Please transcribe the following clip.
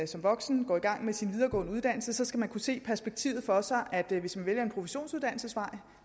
som voksen går i gang med sin videregående uddannelse skal man kunne se det perspektiv for sig at hvis man vælger en professionsuddannelsesvej